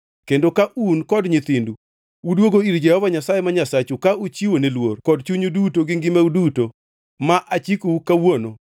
kendo ka un kod nyithindu udwogo ir Jehova Nyasaye ma Nyasachu ka uchiwo ne luor kod chunyu duto gi ngimau duto ma achikou kawuono,